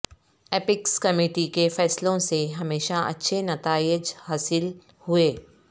apex committee کے فیصلوں سے ہمیشہ اچھے نتائج حاصل ہوئے